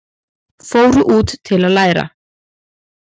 Fóru út til að læra